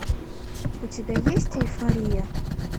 у тебя есть эйфория